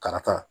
Karaka